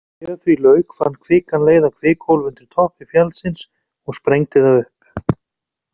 Þegar því lauk fann kvikan leið að kvikuhólfi undir toppi fjallsins og sprengdi það upp.